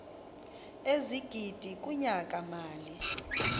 ezigidi kunyaka mali